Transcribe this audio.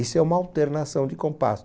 Isso é uma alternação de compasso.